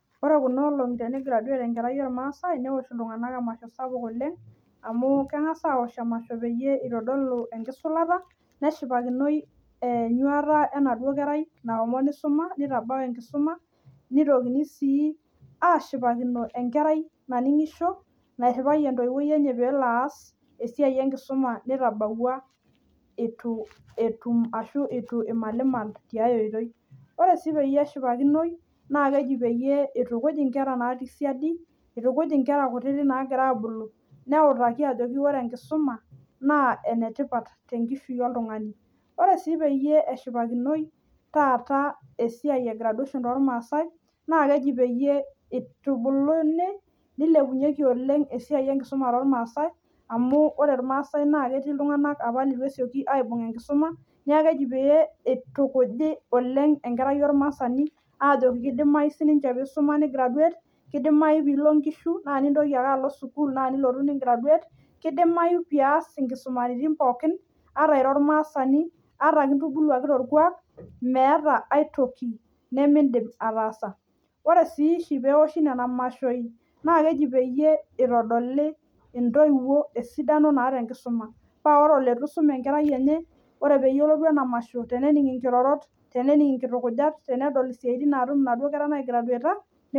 Ore Kuna olongi tenigraduate enkerai ormaasai newosh iltung'ana emasho sapuk oleng amu keng'as awosh emasho pee eitodolu enkisulata neshipakino enyuata enaduo kerai nashomo nitabau enkisuma mitokini ashipakino enkerai naningisho naifiwayioki entoyiwuoi enye pelo as esiai enkisuma nitabwua eitu etum ashu eitu emalimal ore sii pee neshipakino naa keji pee eitukuj enkera natii siadi nitukuj enkera kutiti nagira abulu ajoki ore enkisuma naa enetipat tenkishui oltung'ani ore sii pee eshipakinoi taata esiai ee graduation too ormaasai naa keji peyie etubulinu nilepunyieki oleng esiai enkisuma too irmaasai amu ore irmaasai ketii iltung'ana leitu apa esioki aibung enkisuma neeku keeji pee eitukuji oleng enkerai ormaasani ajooki kidimayu siniche nisuma ni graduate kidimayu pee elo enkishu naa nilo sukuul naa nilotu nintoki nigraduate kidimayu pias enkisumaritin pookin ata ira ormaasani ata kintubuluaki torkuak meeta aitoki nimidim ataasa ore si oshi pee ewoshi Nena mashoi naa keji pee etodoli entoiwuo dupoto nataa enkisuma paa ore oleitu esum enkerai enye tenelotu ena mashoi nenig enkrorot nening enkitukujat tenening esiatin natum enaduo keara naigraduaeta